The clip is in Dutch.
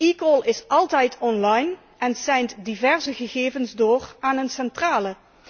eCall is altijd online en seint diverse gegevens door aan een centrale.